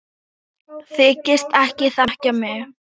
Þykist ekki þekkja mig!